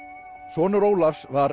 sonur Ólafs var